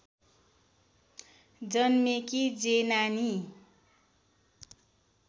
जन्मेकी जेनानी